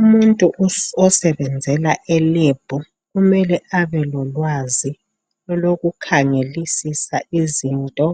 Umuntu osebenzela eLab kumele abelolwazi lokukhangelisisa izinto.